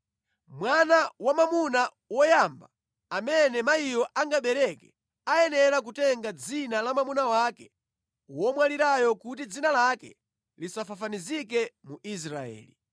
Mwana wamwamuna woyamba amene mayiyo angabereke ayenera kutenga dzina la mwamuna wake womwalirayo kuti dzina lake lisafafanizike mu Israeli.